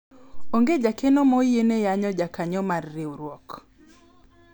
onge jakeno ma oyiene yanyo jakanyo mar riwruok